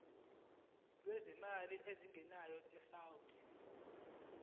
lwezimali ezingenayo isouth